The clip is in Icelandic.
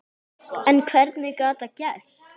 En hvernig gat það gerst?